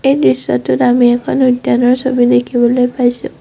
এই দৃশ্যটোত আমি এখন উদ্যানৰ ছবি দেখিবলৈ পাইছোঁ।